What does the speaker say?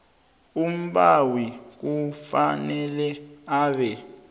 umbawi kufanele abe